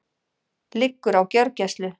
Liggur á gjörgæslu